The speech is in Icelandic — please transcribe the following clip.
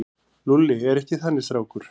Lúlli er ekki þannig strákur.